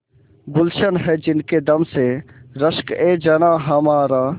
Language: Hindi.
गुल्शन है जिनके दम से रश्कएजनाँ हमारा